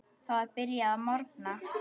Það var byrjað að morgna.